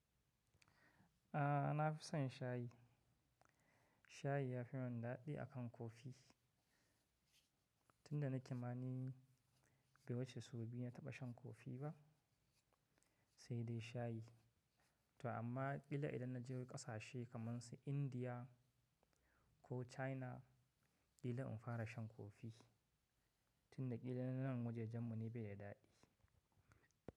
A'a na fi son shayi. Shayi ya fi mun dadi akan kofi tunda na ke mani bai wuce sau biyu na taba shan kofi ba sai dai shayi. To amma kila idan na je wasu kasashe kaman su India ko China kila in fara shan kofi tunda kila nanan wajajen mu ne bai da dadi.